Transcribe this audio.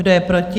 Kdo je proti?